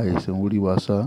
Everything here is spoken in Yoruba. àìsàn orí wa sá.